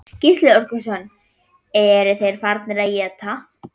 Gísli Óskarsson: Eru þeir farnir að éta?